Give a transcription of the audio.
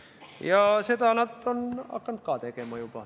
Ja seda nad on juba hakanud ka tegema.